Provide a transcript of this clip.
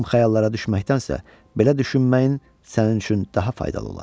Xam xəyallara düşməkdənsə, belə düşünməyin sənin üçün daha faydalı olar.